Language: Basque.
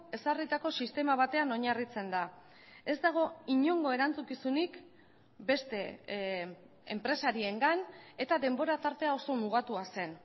ezarritako sistema batean oinarritzen da ez dago inongo erantzukizunik beste enpresariengan eta denbora tartea oso mugatua zen